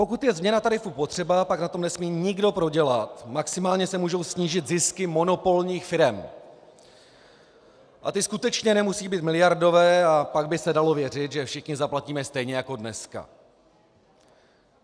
Pokud je změna tarifu potřeba, pak na tom nesmí nikdo prodělat, maximálně se mohou snížit zisky monopolních firem, a ty skutečně nemusí být miliardové, a pak by se dalo věřit, že všichni zaplatíme stejně jako dneska.